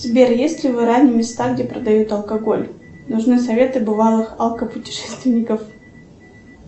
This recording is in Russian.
сбер есть ли в иране места где продают алкоголь нужны советы бывалых автопутешественников